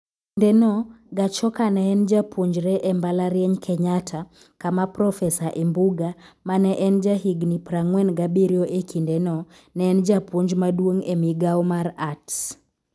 E kindeno, Gachoka ne en japuonjre e mbalariany Kenyatta kama Prof Imbuga, ma ne en jahigini 47 e kindeno, ne en japuonj maduong' e migawo mar Arts.